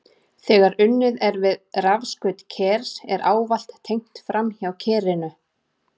Þegar unnið er við rafskaut kers er ávallt tengt framhjá kerinu.